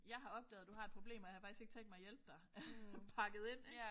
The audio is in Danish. Jeg har opdaget du har et problem og jeg har faktisk ikke tænkt mig at hjælpe dig pakket ind ik